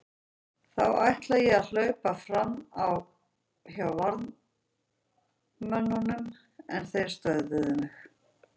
Þá ætlaði ég að hlaupa fram hjá varðmönnunum en þeir stöðvuðu mig.